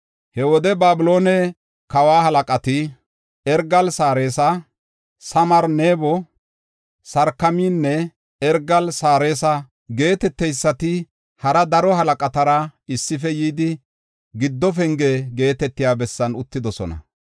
He wode Babiloone kawa halaqati, Ergaal-Sarasira, Samgaar-Nabo, Sarsakimanne Ergaal-Sarasira geeteteysati hara daro halaqatara issife yidi Giddo Penge geetetiya bessan uttidosona.